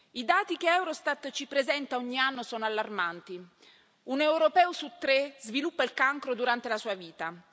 I dati che Eurostat ci presenta ogni anno sono allarmanti un europeo su tre sviluppa il cancro durante la sua vita.